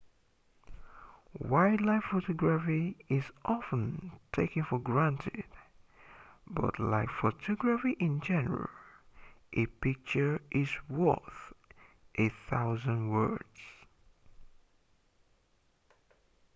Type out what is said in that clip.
wildlife photography is often taken for granted but like photography in general a picture is worth a thousand words